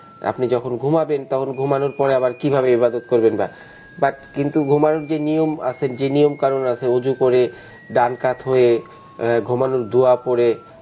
আপনি যখন ঘুমাবেন তখন ঘুমানোর পরে আবার কিভাবে ইবাদত করবেন বা but কিন্তু ঘুমানোর যে নিয়ম আছে নিয়মকানুন আছে উজু করে ডান কাত হয়ে ঘুমানোর দুয়া পড়ে,